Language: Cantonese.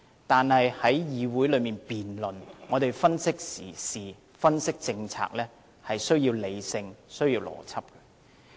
但是，在議會內辯論，我們分析時事、分析政策，是需要理性和邏輯的。